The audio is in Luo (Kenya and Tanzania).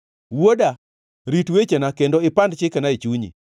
Wuoda, rit wechena kendo ipand chikena e chunyi.